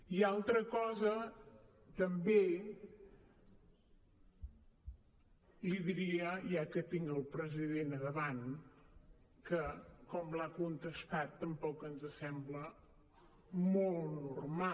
i altra cosa també li diria ja que tinc el president a davant que com l’ha contestat tampoc ens sembla molt normal